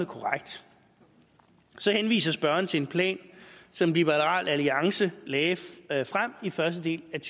korrekt så henviser spørgeren til en plan som liberal alliance lagde lagde frem i første del af